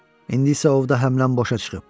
İndi isə ovda həmləm boşa çıxıb.